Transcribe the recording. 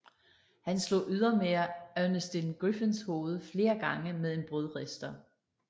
Han slog ydermere Ernestine Griffens hoved flere gange med en brødrister